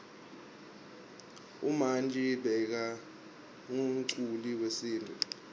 umanji bekangumculi wesintfu